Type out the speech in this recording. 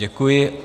Děkuji.